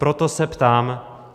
Proto se ptám: